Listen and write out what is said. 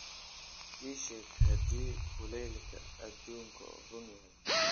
ii sheeg haddii kulaylka adduunku run yahay